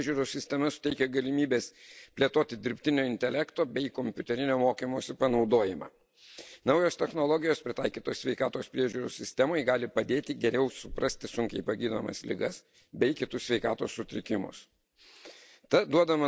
Skaitmeninės sveikatos priežiūros sistema suteikia galimybės plėtoti dirbtinio intelekto bei kompiuterinio mokymosi panaudojimą. Naujos technologijos pritaikytos sveikatos priežiūros sistemai gali padėti geriau suprasti sunkiai pagydomas ligas bei kitus sveikatos sutrikimus.